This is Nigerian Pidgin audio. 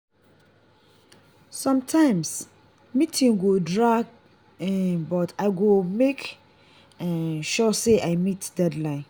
sometimes meeting go drag um but i go make um sure say i meet deadline.